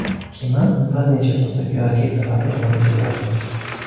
Kema bir necha turdagi raketalarni olib yuradi.